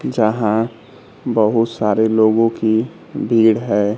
जहां बहुत सारे लोगों की भीड़ है।